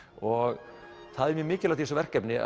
og það er mjög mikilvægt í þessu verkefni